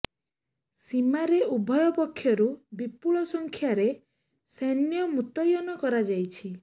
ସୀମାରେ ଉଭୟ ପକ୍ଷରୁ ବିପୁଳ ସଂଖ୍ୟାରେ ସୈନ୍ୟ ମୁତୟନ କରାଯାଇଛି